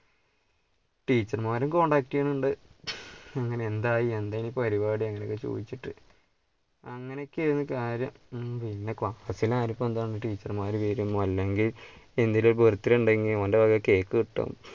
teacher മാരും contact ചെയ്യുന്നുണ്ട് അങ്ങനെ എന്തായി എന്താ പരിപാടി അങ്ങനെയൊക്കെ ചോദിച്ചിട്ട് അങ്ങനെയൊക്കെആയിരുന്നു കാര്യം, പിന്നെ teacher മാരും വരും അല്ലെങ്കിൽ എന്തെങ്കിലും birthday ഉണ്ടെങ്കിൽ ഓന്റെ വക കേക്ക് കിട്ടും.